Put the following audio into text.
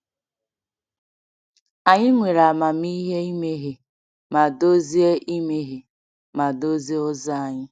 Anyị nwere amamihe imehie ma dozie imehie ma dozie ụzọ anyị.